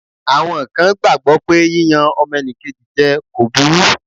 Àwọn kan gbàgbọ́ pé yíyan ọmọnìkejì jẹ kò burú.